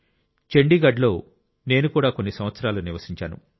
చండీగఢ్ లో నేను కూడా కొన్ని సంవత్సరాలు నివసించాను